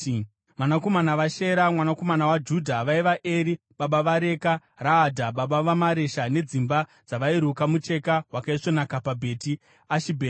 Vanakomana vaShera mwanakomana waJudha vaiva: Eri baba vaReka, Raadha baba vaMaresha nedzimba dzavairuka mucheka wakaisvonaka paBheti Ashibhea.